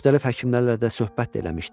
Müxtəlif həkimlərlə də söhbət də eləmişdim.